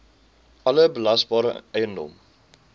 alle belasbare eiendom